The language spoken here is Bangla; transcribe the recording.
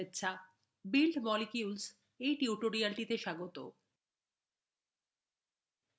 সবাইকে শুভেচ্ছা! build molecules এই টিউটোরিয়ালটিতে স্বাগত